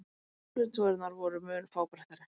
útflutningsvörurnar voru mun fábreyttari